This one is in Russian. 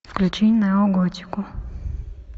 включай неоготику